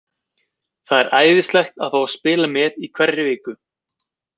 Það er æðislegt að fá að spila í hverri viku.